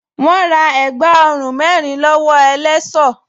Wọ́́n ra ẹ̀gbá ọrùn mẹ́rin lọ́wọ́ ẹlẹṣọ́